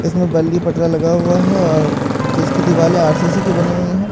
इसमे बल्ली पटरा लगा हुआ हे और जिसकी दिवाले आर_सी_सी कि बनी हुई हे --